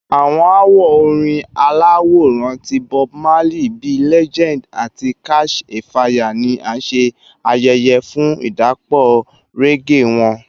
Awọn awo orin alaworan ti Bob Marley bii “Legend” ati “Catch a Fire” ni a ṣe ayẹyẹ fun idapọ reggae wọn.